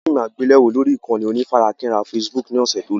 A wo fíìmù àgbéléwò lórí ìkànnì onífarakínra Facebook ni ọ̀sẹ̀ tó lọ